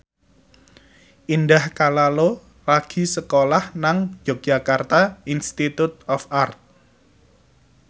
Indah Kalalo lagi sekolah nang Yogyakarta Institute of Art